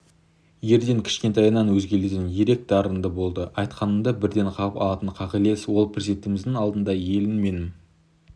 ерден кішкентайынан өзгелерден ерек дарынды болды айтқаныңды бірден қағып алатын қағілез ол президентіміздің алдында елім менің